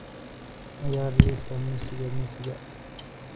ciyaar liiska muusiga muusiga